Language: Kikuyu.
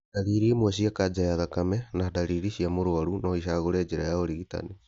Ndariri imwe cia kanja ya thakame na ndariri cia mũrwaru no icagũre njĩra cia ũrigitani